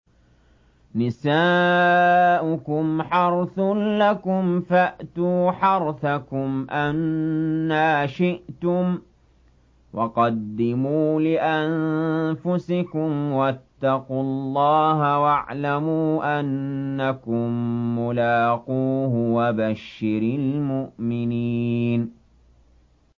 نِسَاؤُكُمْ حَرْثٌ لَّكُمْ فَأْتُوا حَرْثَكُمْ أَنَّىٰ شِئْتُمْ ۖ وَقَدِّمُوا لِأَنفُسِكُمْ ۚ وَاتَّقُوا اللَّهَ وَاعْلَمُوا أَنَّكُم مُّلَاقُوهُ ۗ وَبَشِّرِ الْمُؤْمِنِينَ